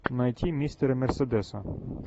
найти мистера мерседеса